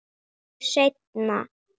Ég svara ykkur seinna.